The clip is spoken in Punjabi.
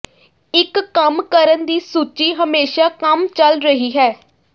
ਇੱਕ ਕੰਮ ਕਰਨ ਦੀ ਸੂਚੀ ਹਮੇਸ਼ਾ ਕੰਮ ਚਲ ਰਹੀ ਹੈ